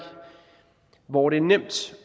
hvor det er nemt